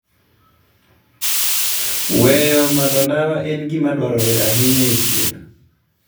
Weyo madho ndawa en gima dwarore ahinya e thieth.